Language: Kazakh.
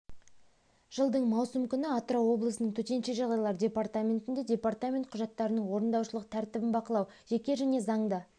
жылдың маусым күні атырау облысының төтенше жағдайлар департаментінде департамент құжаттарының орындаушылық тәртібін бақылау жеке және заңды